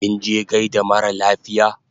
Kinje gaida mara lafiya?